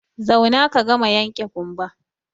Zauna ka gama yanke ƙumba!